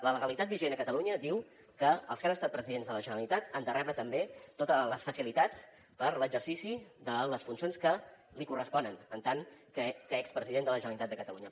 la legalitat vigent a catalunya diu que els que han estat presidents de la generalitat han de rebre també totes les facilitats per a l’exercici de les funcions que li corresponen en tant que expresident de la generalitat de catalunya